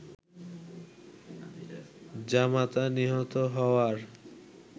জামাতা নিহত হওয়ার